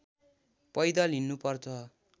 पैदल हिँड्नुपर्छ